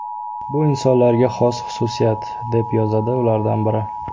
Bu insonlarga xos xususiyat”, deb yozadi ulardan biri.